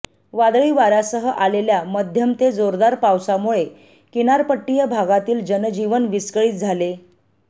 वादळी वाऱ्यासह अालेल्या मध्यम ते जोरदार पावसामुळे किनारपट्टीय भागातील जनजीवन विस्कळित झाले